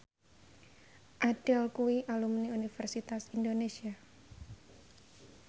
Adele kuwi alumni Universitas Indonesia